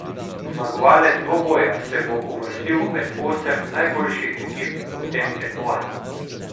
Zmagovalec dvoboja se bo uvrstil med osem najboljših ekip v tem tekmovanju.